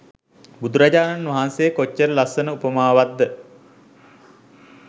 බුදුරජාණන් වහන්සේ කොච්චර ලස්සන උපමාවක්ද